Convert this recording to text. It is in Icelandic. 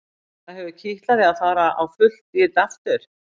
Það hefur kitlað þig að fara á fullt í þetta aftur?